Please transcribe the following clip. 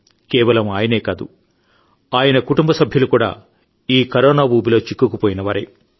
దేశవాసులారా రామ్ గంప తేజా గారు చెప్పినట్లు ఆయనకు కరోనా సోకిన విషయం తెలిసిన తర్వాత డాక్టర్లు ఇచ్చిన ఆదేశాలను తూచాతప్పకుండా పాటించారు